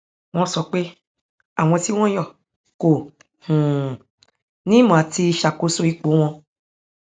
wọn sọ pé àwọn tí wọn yàn kò um ní ìmọ àti ṣàkóso ipò wọn